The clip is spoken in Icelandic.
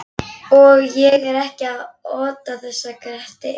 Og ég er ekkert að ota þessu að Gretti eða